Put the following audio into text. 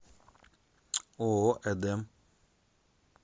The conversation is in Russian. ооо эдем